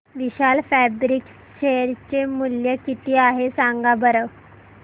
विशाल fabrics share चे मूल्य किती आहे सांगा बरं